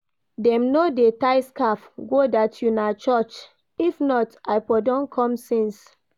Dem no dey tie scarf go dat una church, if not I for don come since.